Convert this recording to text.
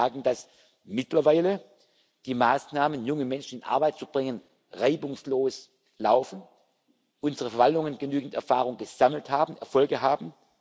prüfen wir können Ihnen sagen, dass mittlerweile die Maßnahmen, um junge Menschen in Arbeit zu bringen, reibungslos laufen, unsere Verwaltungen genügend Erfahrung gesammelt haben, Erfolge